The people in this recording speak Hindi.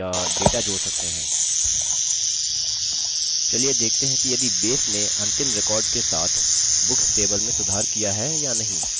चलिए देखते हैं कि यदि base नें अंतिम record के साथ books table में सुधार किया है या नहीं जिसे हमने अभी प्रविष्ट किया है